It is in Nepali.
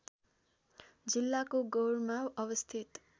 जिल्लाको गौरमा अवस्थित